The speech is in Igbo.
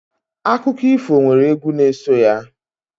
Akụkọ ifo nwere egwu n'eso ya.